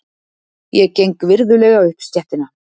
Ég geng virðulega upp stéttina.